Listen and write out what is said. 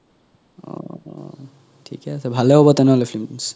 অ থিকে আছে ভালে হব তেনেহলে films